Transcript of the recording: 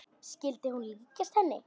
Skyldi hún líkjast henni?